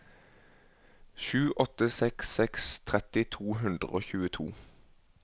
sju åtte seks seks tretti to hundre og tjueto